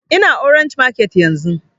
Ina orange market yanzun